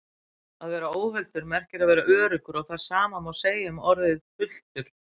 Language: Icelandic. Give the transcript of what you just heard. Að vera óhultur merkir að vera öruggur og það sama má segja um orðið hultur.